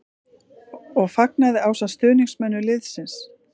. og fagnaði ásamt stuðningsmönnum liðsins.